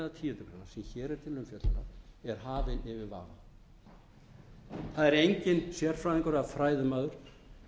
til umfjöllunar er hafinn yfir vafa það er enginn sérfræðingur eða fræðimaður